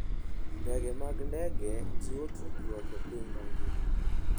Ndege mag ndege jiwo tudruok e piny mangima.